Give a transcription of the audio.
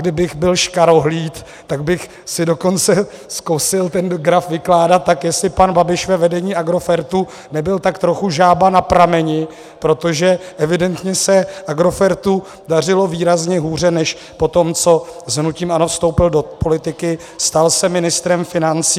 Kdybych byl škarohlíd, tak bych si dokonce zkusil ten graf vykládat tak, jestli pan Babiš ve vedení Agrofertu nebyl tak trochu žába na prameni, protože evidentně se Agrofertu dařilo výrazně hůře než po tom, co s hnutím ANO vstoupil do politiky, stal se ministrem financí.